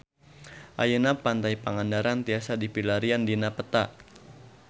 Ayeuna Pantai Pangandaran tiasa dipilarian dina peta